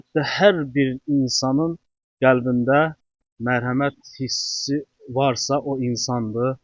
Əlbəttə hər bir insanın qəlbində mərhəmət hissi varsa o insandır.